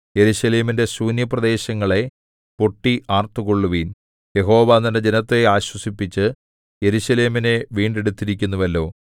യെരൂശലേമിന്റെ ശൂന്യപ്രദേശങ്ങളേ പൊട്ടി ആർത്തുകൊള്ളുവിൻ യഹോവ തന്റെ ജനത്തെ ആശ്വസിപ്പിച്ച് യെരൂശലേമിനെ വീണ്ടെടുത്തിരിക്കുന്നുവല്ലോ